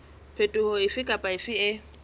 phetoho efe kapa efe e